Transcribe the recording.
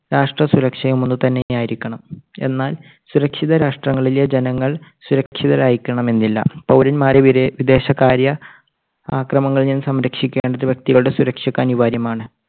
രാഷ്ട്രസുരക്ഷയും ഒന്നു തന്നെ ആയിരിക്കണം. എന്നാൽ സുരക്ഷിത രാഷ്ട്രങ്ങളിലെ ജനങ്ങൾ സുരക്ഷിതരായിരിക്കണം എന്നില്ല. പൗരന്മാരെ വിദേ~വിദേശകാര്യ ആക്രമണങ്ങളിൽ നിന്ന് സംരക്ഷിക്കേണ്ടത് വ്യക്തികളുടെ സുരക്ഷയ്ക്ക് അനിവാര്യമാണ്.